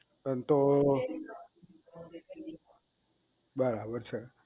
એમ તો